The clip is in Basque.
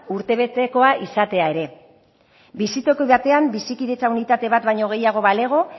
urtebetekoa izatea ere bizitoki batean bizikidetza unitate bat baino gehiago balego